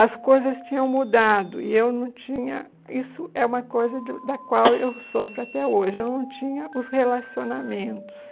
As coisas tinham mudado e eu não tinha, isso é uma coisa de da qual eu sofro até hoje, eu não tinha os relacionamentos.